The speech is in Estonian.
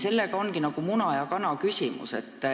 See on nagu muna ja kana küsimus.